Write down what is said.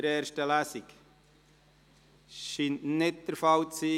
Das scheint nicht der Fall zu sein.